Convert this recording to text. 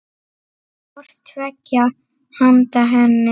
hvort tveggja handa henni.